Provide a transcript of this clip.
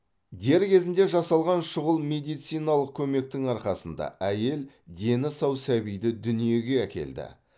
дер кезінде жасалған шұғыл медициналық көмектің арқасында әйел дені сау сәбиді дүниеге әкелді